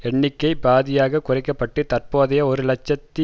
எண்ணிக்கை பாதியாக குறைக்க பட்டு தற்போதைய ஒரு இலட்சத்தி